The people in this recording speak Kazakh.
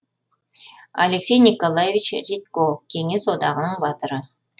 алексей николаевич редько кеңес одағының батыры